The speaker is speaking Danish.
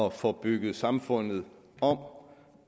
at få bygget samfundet om